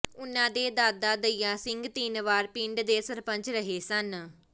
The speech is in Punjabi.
ਉਨ੍ਹਾਂ ਦੇ ਦਾਦਾ ਦਇਆ ਸਿੰਘ ਤਿੰਨ ਵਾਰ ਪਿੰਡ ਦੇ ਸਰਪੰਚ ਰਹੇ ਸਨ